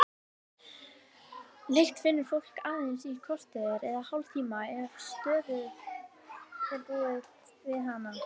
Lykt finnur fólk aðeins í korter eða hálftíma ef stöðugt er búið við hana.